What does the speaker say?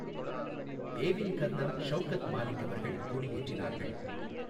ஏவின் colonel Shaukat Malik அவர்கள் கொடியேற்றினார்கள்.